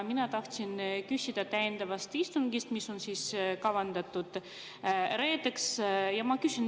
Mina tahtsin küsida täiendava istungi kohta, mis on kavandatud reedeks.